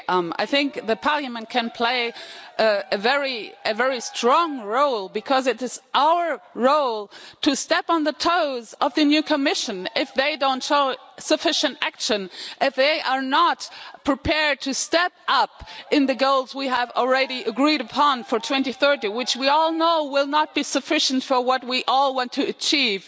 I think that Parliament can play a very strong role because it is our role to step on the toes of the new Commission if they don't take sufficient action and if they are not prepared to step up to the goals we have already agreed upon for 2030, which we all know will not be sufficient for what we all want to achieve.